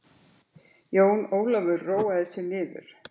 Jón Ólafur róaði sig niður.